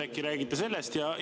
Äkki räägite sellest?